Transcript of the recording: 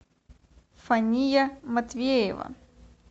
фания матвеева